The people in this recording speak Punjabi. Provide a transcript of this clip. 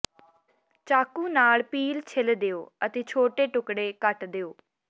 ਚਾਕੂ ਨਾਲ ਪੀਲ ਛਿੱਲ ਦਿਓ ਅਤੇ ਛੋਟੇ ਟੁਕੜੇ ਕੱਟ ਦਿਓ